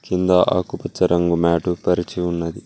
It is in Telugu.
కింద ఆకుపచ్చ రంగు మ్యాటు పరిచి ఉన్నది.